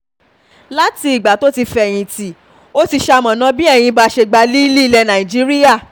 láti ìgbà tó ti fẹ̀yìntì um ó ti ṣamọ̀nà bí enyimba ṣe gba um líìlì ilẹ̀ nàìjíríà